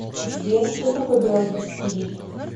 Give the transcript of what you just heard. сбер что такое биологический вид